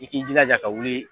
I k'i jilaja ka wuli.